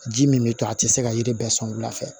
Ji min bɛ to a tɛ se ka yiri bɛɛ sɔn wula fɛ